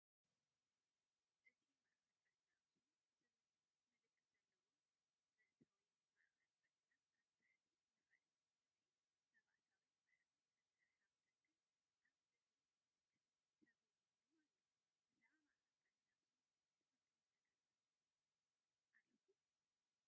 እቲ “ማእከል ጥዕና ኣክሱም” ዝብል ምልክት ዘለዎ መእተዊ ማእከል ጥዕና ኣብ ታሕቲ ይርአ። እቲ መእተዊ ብሓጺን ዝተሰርሐ ኣፍደገን ኣብ ልዕሊኡ ምልክትን ተገይሩሉ ኣሎ። ብዛዕባ ማእከል ጥዕና ኣክሱም እትፈልጦ ነገር ኣለኩም?